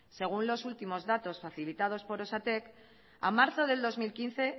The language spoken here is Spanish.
según los últimos datos facilitados por osatek a marzo del dos mil quince